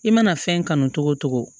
I mana fɛn kanu togo togo